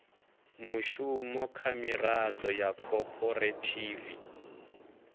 mushumo kha miraḓo ya khophorethivi